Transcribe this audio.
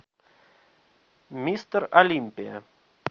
мистер олимпия